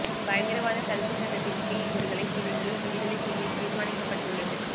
பயங்கரவாதத் தடுப்பு சட்டத்தின் கீழ் இவர்களை பிணையில் விடுதலை செய்ய தீர்மானிக்கப்பட்டுள்ளது